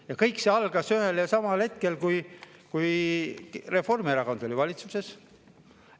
Ja kõik see algas ühel ja samal hetkel, kui Reformierakond oli valitsuses.